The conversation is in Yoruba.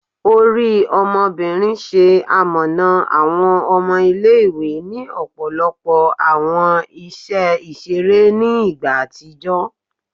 Ori Ọmọbinrin, ṣe amọna awọn ọmọ ile-iwe ni ọpọlọpọ awọn iṣẹ iṣere ni igba atijọ